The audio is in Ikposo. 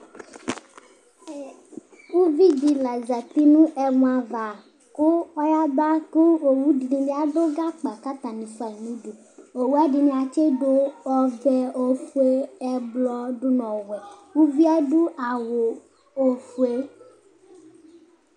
ɛ uvidi lɑzɑti nu ɛmɔɑvɑ ɔyɑbɑ ku õwudibi ɑdugbɑkɑ kɑtɑniɑdu gbɑkɑ kɑtɑni fuɑyinudu õwuɛdiniɑ tsidu õvɛ õfuɛ ɛblɔ dunu õwɛ uviɛ ɑdu ɑwu õfuɛ